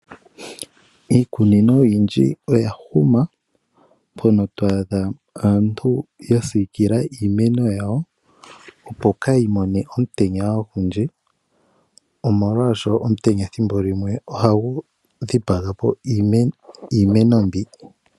Iikunino oyindji oya huma mpono twaadha aantu yasikila iimeno yawo opo kayi mone omutenya ogundji, omolwasho omutenya thimbolimwe ohagu dhipagapo iimeno mbi.